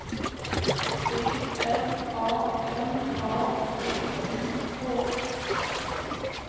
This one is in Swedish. D R A M A T I K